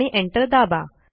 आणि एंटर दाबा